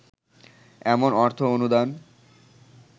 এমন অর্থ অনুদান